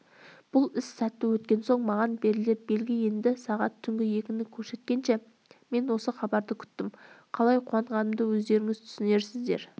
бұл іс сәтті өткен соң маған берілер белгі еді сағат түнгі екіні көрсеткенше мен осы хабарды күттім қалай қуанғанымды өздеріңіз түсінерсіздер жеті рет берілген